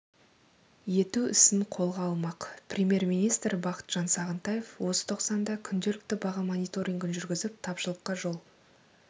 ету ісін қолға алмақ премьер-министр бақытжан сағынтаев осы тоқсанда күнделікті баға мониторингін жүргізіп тапшылыққа жол